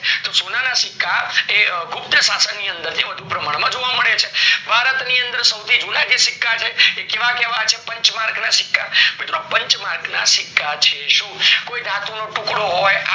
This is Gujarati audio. તો સોનાના સિક્કા એ ગુપ્ત શાસન ની અંદર વધુ પ્રમાણ માં જોવા મળે છે, ભારત માં સવથી જુના જે સિક્કા છે એ કેવા કેવા છે પંચ્માંર્ક ના સિક્કા મિત્રો પંચ્માંર્ક ના સિક્કા છે કોઈ ધાતુ નો ટુકડો હોય